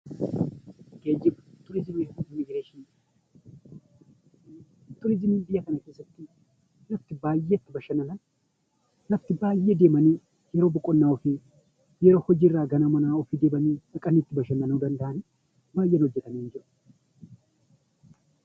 Geejiba, turizimii fi immigireeshinii. Turizimiin biyya kana keessatti iddoo itti baayyee bashannanan, lafti baayyee deemanii yeroo boqonnaa ofii, yeroo hojii irraa gara manaa ofii deebi'an dhaqanii itti bashannanuu danda'anii dha.